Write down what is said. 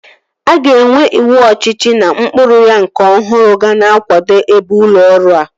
A ga-enwe ịwụ ọchịchị na ụkpụrụ ya nke ọhụrụ ga na-akwado ebe ụlọ ọrụ a